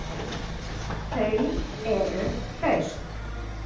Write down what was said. Þau eru hraust